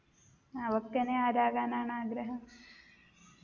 അവക്കെനി ആരാകാനാണ് ആഗ്രഹം